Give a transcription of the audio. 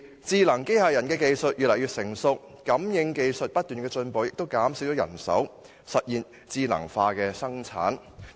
智能機器人技術越來越成熟，感應器技術不斷進步，減少人手，實現智能化生產。